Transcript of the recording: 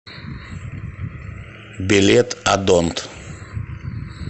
билет одонт